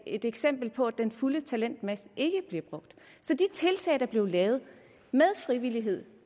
et eksempel på at den fulde talentmasse ikke bliver brugt så de tiltag der blev lavet med frivillighed